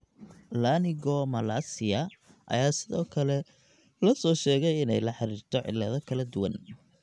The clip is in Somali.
Laryngomalacia ayaa sidoo kale la soo sheegay inay la xiriirto cillado kala duwan.